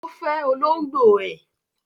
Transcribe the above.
Ó fẹ olóngbò ẹ̀.